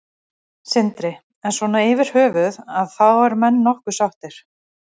Sindri: En svona yfirhöfuð að þá eru menn nokkuð sáttir?